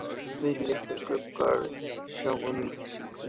Tveir litlir gluggar sjá um lýsingu